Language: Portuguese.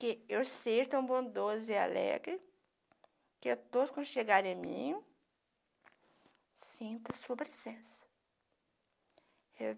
que eu seja tão bondosa e alegre, que todos quando chegarem a mim, sintam a sua presença.